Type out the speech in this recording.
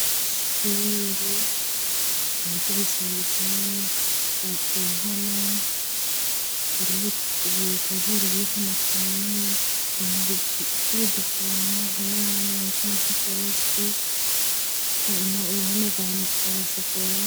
Ishure hariko ibisharizo ku mpome hari ubutajeri buriko amakaye ibintu vy'ibidekorano abana bahetse amasakoshi, uruhome rwashokora.